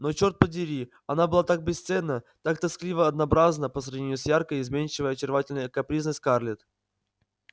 но чёрт подери она была так бесценна так тоскливо-однообразна по сравнению с яркой изменчивой очаровательно-капризной скарлетт